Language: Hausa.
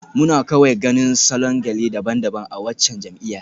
Muna kawai ganin salon gele daban-daban a waccan jam'iyyar.